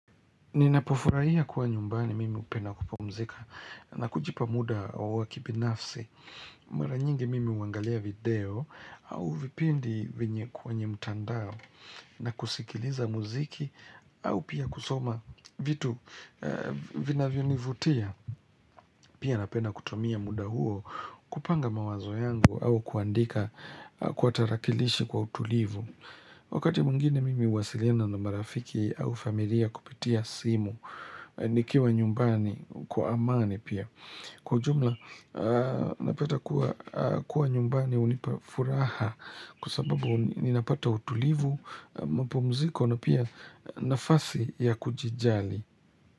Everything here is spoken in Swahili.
Ninapofurahia kuwa nyumbani mimi upenda kupumzika na kujipa muda wa wa kibinafsi. Mara nyingi mimi huangalia video au vipindi venye kwenye mtandao na kusikiliza muziki au pia kusoma vitu vinavyonivutia. Pia napenda kutumia muda huo kupanga mawazo yangu au kuandika kwa tarakilishi kwa utulivu. Wakati mwingine mimi huwasiliana na marafiki au familia kupitia simu, nikiwa nyumbani kwa amani pia. Kwa ujumla, napeta kuwa nyumbani unipa furaha kwa sababu ninapata utulivu, mpumziko na pia nafasi ya kujijali.